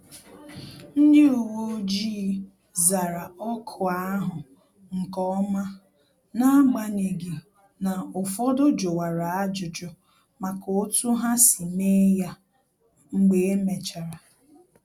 Ndị uwe ojii zara ọkụ ahụ nkeọma, n'agbanyeghị na-ụfọdụ juwara ajụjụ maka otu ha si mee ya mgbe emechara